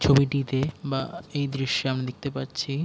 ছবিটিতে বা এই দৃশ্যে আমি দেখতে পারছি --